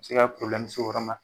Se ka porobilɛmu se o yɔrɔ ma